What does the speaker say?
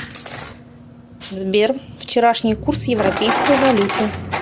сбер вчерашний курс европейской валюты